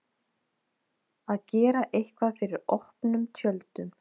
Að gera eitthvað fyrir opnum tjöldum